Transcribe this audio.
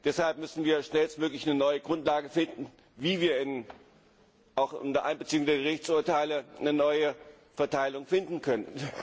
Deshalb müssen wir schnellstmöglich eine neue Grundlage finden, wie wir auch unter Einbeziehung der Gerichtsurteile eine neue Verteilung finden können.